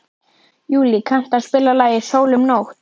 Júlí, kanntu að spila lagið „Sól um nótt“?